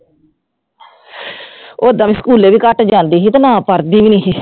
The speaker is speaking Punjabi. ਓਦਾਂ ਵੀ ਸਕੂਲੇ ਵੀ ਘੱਟ ਜਾਂਦੀ ਸੀ ਤੇ ਨਾ ਪੜ੍ਹਦੀ ਵੀ ਨੀ ਸੀ।